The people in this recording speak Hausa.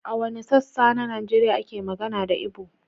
A wanne sassa na Najeriya ake magana da Ibo?